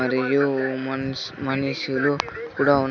మరియు మనుష్ మనుషులు కూడా ఉన్--